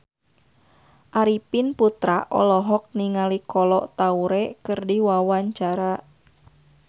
Arifin Putra olohok ningali Kolo Taure keur diwawancara